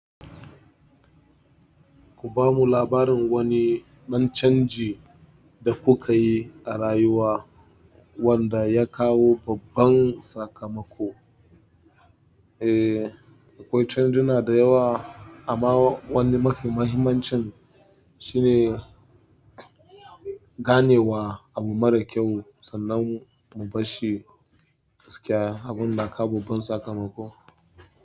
Ku ba mu labarin wani ɗan canji da kuka yi a rayuwa wanda ya kawo babban sakamako. Eh, akwai canju na da yawa amma wani mafi mahimmancin shine ganewa abu mara kyau sannan mu bar shi gaskiya abun na kawo babban sakamako.